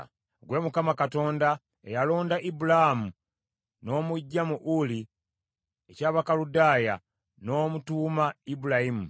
“Ggwe Mukama Katonda, eyalonda Ibulaamu n’omuggya mu Uli eky’Abakaludaaya n’omutuuma Ibulayimu.